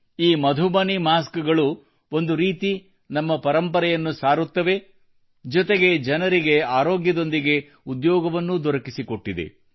ಈ ಮಧುಬನಿ ಮಾಸ್ಕ್ ಗಳು ಒಂದು ರೀತಿ ನಮ್ಮ ಪರಂಪರೆಯನ್ನು ಸಾರುತ್ತವೆ ಜೊತೆಗೆ ಜನರಿಗೆ ಆರೋಗ್ಯದೊಂದಿಗೆ ಉದ್ಯೋಗವನ್ನೂ ದೊರಕಿಸಿಕೊಟ್ಟಿದೆ